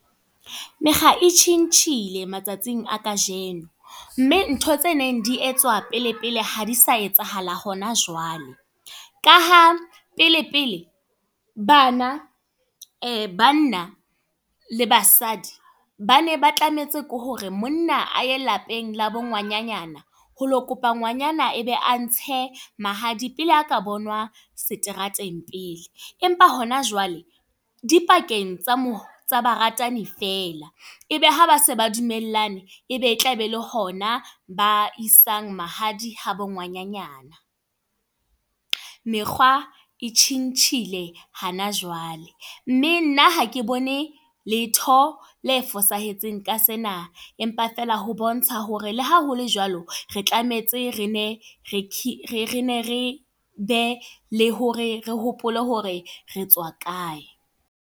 Mekga e tjhintjhile matsatsing a kajeno. Mme ntho tse neng di etswa pele pele ha di sa etsahala hona jwale. Ka ha pele pele bana, banna le basadi bane ba tlametse ke hore monna a ye lapeng la bo ngwananyana, ho lo kopa ngwanana ebe a ntshe mahadi. Pele a ka bonwa seterateng pele. Empa hona jwale di pakeng tsa mo ba ratani fela. Ebe ha base ba dumellane, ebe e tla be le hona ba isang mahadi ha ba ngwananyana. Mekgwa e tjhintjhile hana jwale. Mme nna hake bone, letho le fosahetseng ka sena. Empa feela ho bontsha hore le haholo jwalo re tlametse, re ne re be le hore re hopole hore re tswa kae.